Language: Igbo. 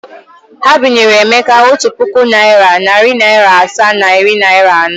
Ha binyere Emeka otu puku naịra, narị naịra asaa na iri naịra anọ.